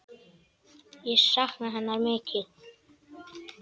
Ég sakna hennar mikið.